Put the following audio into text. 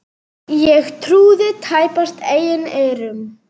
Ég trúði tæpast eigin eyrum.